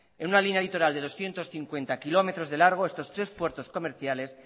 en una línea litoral de doscientos cincuenta kilómetros de largo estos tres puertos comerciales